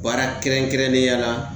Baara kɛrɛnkɛrɛnnenya la